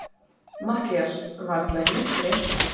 MATTHÍAS: Varla í myrkri.